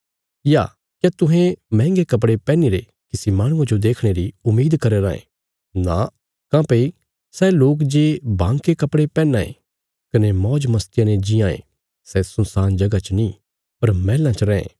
या क्या तुहें महंगे कपड़े पैहनीरे किसी माहणुये जो देखणे री उम्मीद करया राँ थे नां काँह्भई सै लोक जे बांके कपड़े पैहनां ये कने मौज मस्तिया ने जीआं ये सै सुनसान जगह च नीं पर मैहलां च रैं